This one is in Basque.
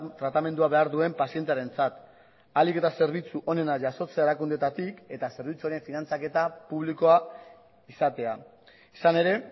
tratamendua behar duen pazientearentzat ahalik eta zerbitzu onena jasotzea erakundeetatik eta zerbitzuaren finantzaketa publikoa izatea izan ere